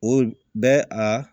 O bɛ a